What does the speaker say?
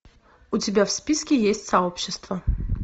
у тебя в списке есть сообщества